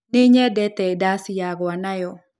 Nĩnyendete ndaci ya gũa nayo.